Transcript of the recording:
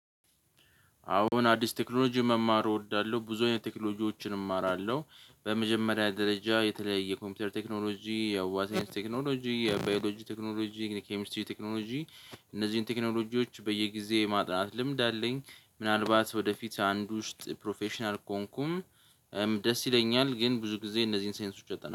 አሁን አዲስ ቴክኖሎጂ መማሩ እወዳለሁ ብዙ አይነት ቴክኖሎጂዎችን እማራለሁ። በመጀመሪያ ደረጃ የተለየ የኮምፒውተር ቴክኖሎጂ የዋት ሳይንስ ቴክኖሎጂ የባዮሎጂ ቴክኖሎጂ የኬሚሲትር ቴክኖሎጂ። እነዚህን ቴክኖሎጂዎች በየጊዜ ማጥናት ልምድ አለኝ። ምናልባት ወደፊት አንድ ውስጥ ፕሮፌሽናል ኮንኩን ደስ ይለኛል። ግን ብዙ ጊዜ እነዚህን ሳይንሶች አጠናለሁ